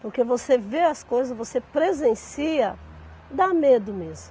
Porque você vê as coisas, você presencia, dá medo mesmo.